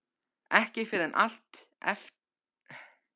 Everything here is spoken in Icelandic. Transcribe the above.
Ekki fyrr en eftir að þau fóru, Alla og Sjóni.